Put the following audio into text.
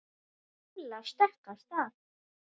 Lilla stökk af stað.